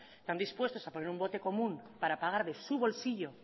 están dispuestos a poner un bote común para pagar de su bolsillo